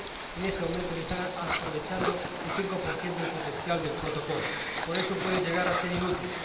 En este momento se está aprovechando sólo el 5 del potencial del Protocolo, por eso puede llegar a ser inútil.